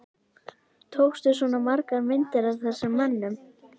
Tókstu svona margar myndir af þessum mönnum?